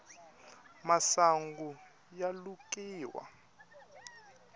masungu ya lukiwa